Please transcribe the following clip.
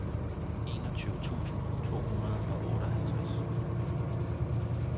enogtyve tusind to hundrede og otteoghalvtreds